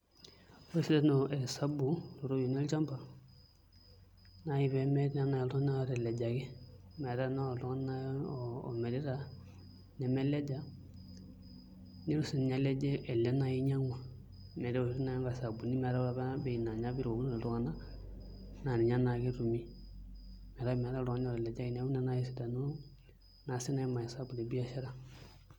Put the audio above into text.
Ore esidano e esabu ooropiyiani olchamba na pee meeku etii oltung'ani otelejaki, metaa tenaa oltung'ani naai omirita nemeleja nitu siinye eleje ele naai oinyiang'ua amu keoshi naa nkaisabuni metaa ore apa bei naa inye apa irukokinote iltung'anak naa ninye naake etumi metaa meeta oltung'ani otelejaki, neeku ina naai esidano naa siinye emaesabu te biashara.